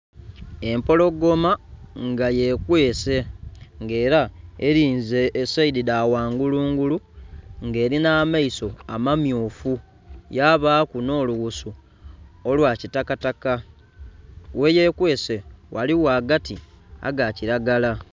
Empologoma nga yekwese ng'ela elinze esaidi dhaghangulungulu ng'elinha amaiso amamyufu, yabaku nh'olughusu olwa kitakataka gheyekwese ghaligho agati aga kilagala